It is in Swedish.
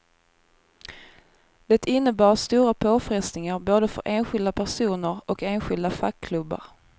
Det innebar stora påfrestningar både för enskilda personer och enskilda fackklubbar.